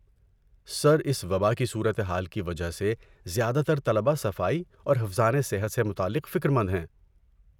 سر، اس وباء کی صورت حال کی وجہ سے زیادہ تر طلبہ صفائی اور حفظانِ صحت سے متعلق فکر مند ہیں۔